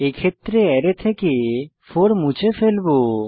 এক্ষেত্রে অ্যারে থেকে 4 মুছে ফেলবো